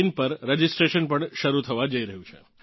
in પર registration પણ શરૂ થવાં જઇ રહ્યું છે